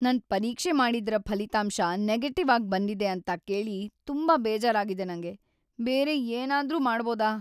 ನನ್ ಪರೀಕ್ಷೆ ಮಾಡಿದ್ದರ ಫಲಿತಾಂಶ ನೆಗೆಟಿವ್‌ ಆಗ್ ಬಂದಿದೆ ಅಂತ ಕೇಳಿ ತುಂಬಾ ಬೇಜಾರಾಗಿದೆ ನಂಗೆ. ಬೇರೆ ಏನಾದ್ರೂ ಮಾಡ್ಬೋಡ?